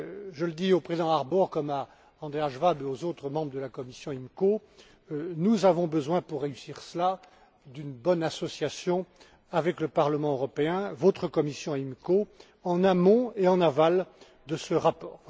Je le dis au président Harbour, comme à Andreas Schwab et aux autres membres de la commission IMCO nous avons besoin pour réussir cela d'une bonne association avec le Parlement européen, avec votre commission IMCO, en amont et en aval de ce rapport.